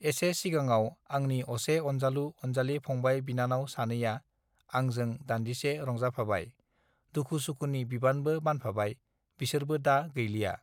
एसे सिगाङाव आंनि असे अनजालु अनजालि फंबाय बिनानाव सानैया आंजों दान्दिसे रंजाफाबाय दुखुसुखुनि बिबानबो बानफाबाय बिसोरबो दा गैलिया